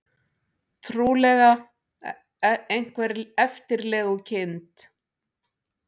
Trúlega einhver eftirlegukind.